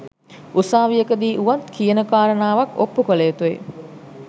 උසාවියකදී වුවත් කියන කාරණාවක් ඔප්පු කළ යුතුය